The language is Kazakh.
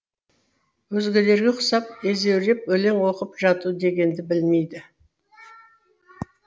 өзгелерге ұқсап өзеуреп өлең оқып жату дегенді білмейді